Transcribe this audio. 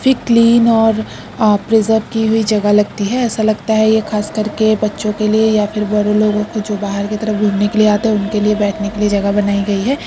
फिर क्लीन और अ प्रिजेव् की हुई जगह लगती है ऐसा लगता है ये ख़ास करके बच्चों के लिए या फिर बड़ो लोगों के जो बाहर के तरफ घुमने के लिए आते हैं उनके लिए बैठने के लिए जगह बनाई गयी है।